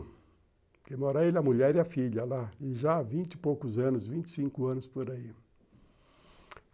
Porque mora ele a mulher e a filha lá e já há vinte e poucos anos, vinte e cinco anos por aí.